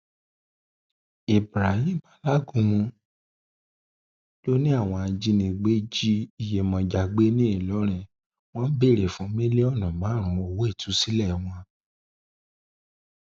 ibrahim alágúnmu lórìn àwọn ajìnigbé jí iyemọja gbé ní ìlọrin wọn ń béèrè fún mílíọnù márùnún owó ìtúsílẹ hon